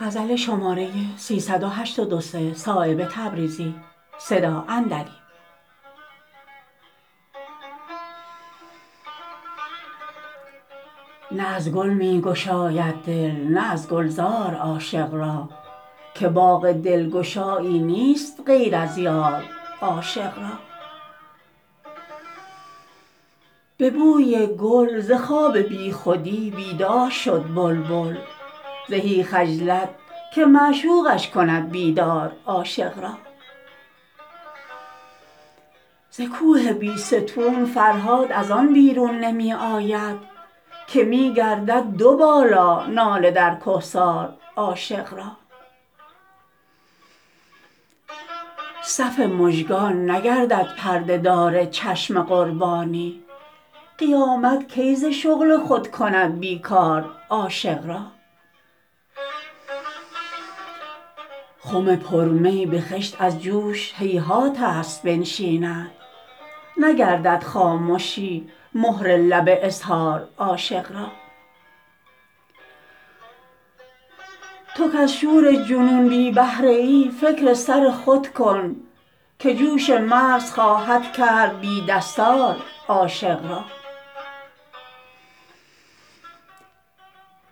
نه از گل می گشاید دل نه از گلزار عاشق را که باغ دلگشایی نیست غیر از یار عاشق را به بوی گل ز خواب بی خودی بیدار شد بلبل زهی خجلت که معشوقش کند بیدار عاشق را ز کوه بیستون فرهاد ازان بیرون نمی آید که می گردد دو بالا ناله در کهسار عاشق را صف مژگان نگردد پرده دار چشم قربانی قیامت کی ز شغل خود کند بیکار عاشق را خم پر می به خشت از جوش هیهات است بنشیند نگردد خامشی مهر لب اظهار عاشق را تو کز شور جنون بی بهره ای فکر سر خود کن که جوش مغز خواهد کرد بی دستار عاشق را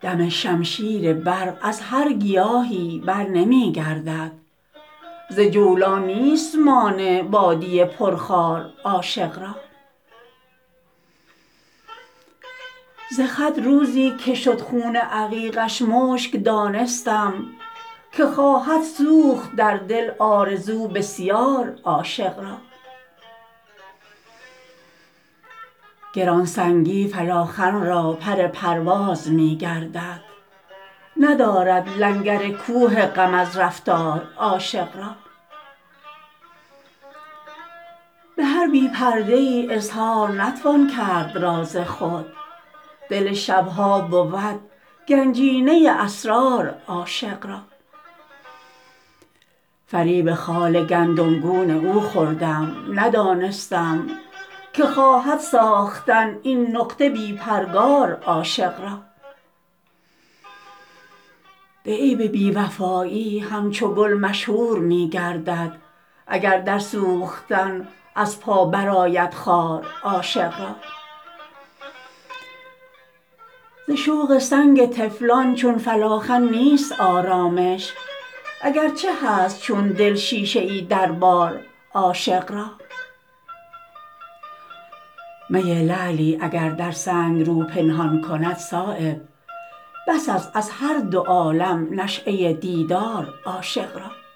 دم شمشیر برق از هر گیاهی برنمی گردد ز جولان نیست مانع وادی پر خار عاشق را ز خط روزی که شد خون عقیقش مشک دانستم که خواهد سوخت در دل آرزو بسیار عاشق را گرانسنگی فلاخن را پر پرواز می گردد ندارد لنگر کوه غم از رفتار عاشق را به هر بی پرده ای اظهار نتوان کرد راز خود دل شبها بود گنجینه اسرار عاشق را فریب خال گندم گون او خوردم ندانستم که خواهد ساختن این نقطه بی پرگار عاشق را به عیب بی وفایی همچو گل مشهور می گردد اگر در سوختن از پا برآید خار عاشق را ز شوق سنگ طفلان چون فلاخن نیست آرامش اگر چه هست چون دل شیشه ای در بار عاشق را می لعلی اگر در سنگ رو پنهان کند صایب بس است از هر دو عالم نشأه دیدار عاشق را